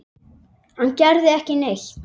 Hann gerði ekki neitt.